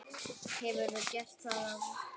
Hefurðu gert það áður?